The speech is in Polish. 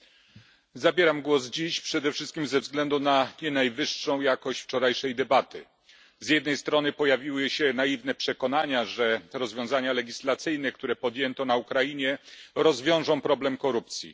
Panie Przewodniczący! Zabieram dziś głos przede wszystkim ze względu na nie najwyższą jakość wczorajszej debaty. Z jednej strony pojawiły się naiwne przekonania, że rozwiązania legislacyjne, które podjęto na Ukrainie, rozwiążą problem korupcji.